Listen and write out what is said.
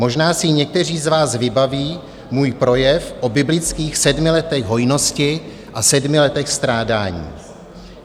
Možná si někteří z nás vybaví můj projev o biblických sedmi letech hojnosti a sedmi letech strádání.